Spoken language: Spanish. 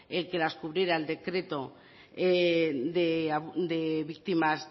el que las cubriera el decreto de víctimas